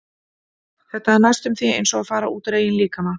Þetta er næstum því eins og að fara út úr eigin líkama.